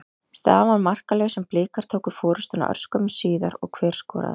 Staðan var markalaus en Blikar tóku forystuna örskömmu síðar og hver skoraði?